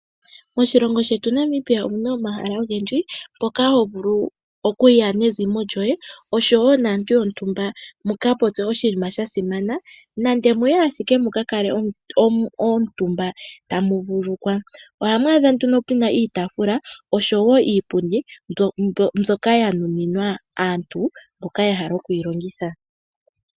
Moshilongo shetu Namibia omuna omahala ogendji mpoka ho vulu okuya nezimo lyoye oshowo naantu yontumba mu ka popye oshinima sha simana nenge muye ashike mu ka kale omutumba tamu vululukwa. Ohamu adha nduno puna iitaafula oshowo iipundi mbyoka ya nuninwa aantu mboka ya hala oku yilongitha .